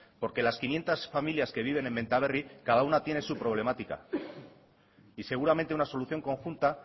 porque las quinientos familias que viven en benta berri cada una tiene su problemática y seguramente una solución conjunta